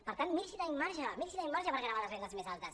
per tant miri si tenim marge miri si tenim marge per gravar les rendes més altes